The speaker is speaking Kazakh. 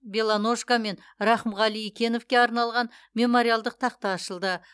белоножко мен рахымғали икеновке арналған мемориалдық тақта ашылды